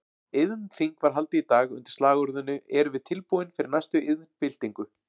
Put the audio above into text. Iðnþing var haldið í dag undir slagorðinu Erum við tilbúin fyrir næstu iðnbyltingu?